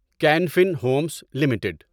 can Fin Homes limited